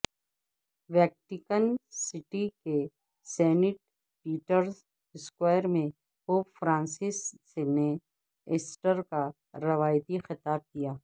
Vatican city کے saint Peter's square میں pope Francis نے ایسٹر کا روایتی خطاب کیا